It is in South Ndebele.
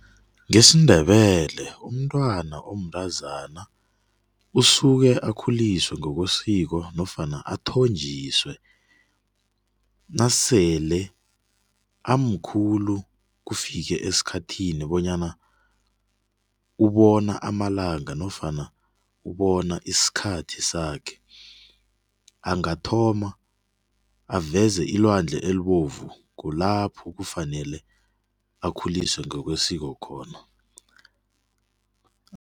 Ngesindebele umntwana omntazana usukee akhuliswa ngokwesiko nofana athonjiswe nasele amkhulu kufike esikhathini bonyana ubona amalanga nofana ubona isikhathi sakhe. Angathoma aveze ilwandle elibovu kulapho kufanele akhuliswa ngokwesiko khona.